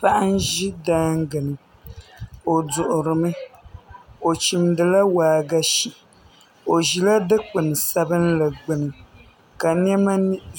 Paɣa n ʒi daangi ni o duɣurimi o chimdila waagashe o ʒila dikpuni sabinli gbuni ka niɛma